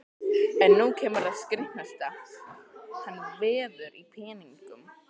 En nú kemur það skrítnasta: hann veður í peningum!